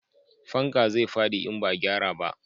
Fanka zai fadi in ba a gyara ba